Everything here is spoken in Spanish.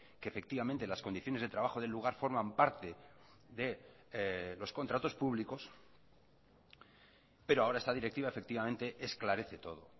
que efectivamente las condiciones de trabajo del lugar forman parte de los contratos públicos pero ahora esta directiva efectivamente esclarece todo